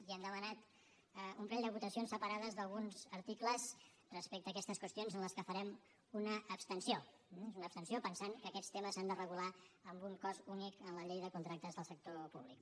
i hem demanat un parell de votacions separades d’alguns articles respecte a aquestes qüestions en les que farem una abstenció eh és una abstenció pensant que aquests temes s’han de regular amb un cos únic en la llei de contractes del sector públic